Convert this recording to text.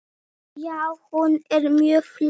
Já, hún er mjög flott.